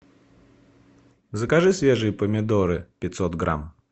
закажи свежие помидоры пятьсот грамм